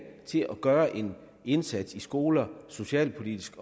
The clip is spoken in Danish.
til at gøre en indsats i skoler socialpolitisk